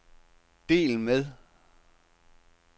del med